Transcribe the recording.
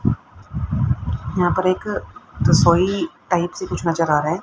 यहां पर एक तसोइ टाइप सा कुछ नजर आ रहा है।